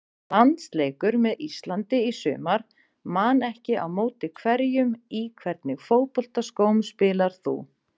Landsleikur með Íslandi í sumar man ekki á móti hverjum Í hvernig fótboltaskóm spilar þú?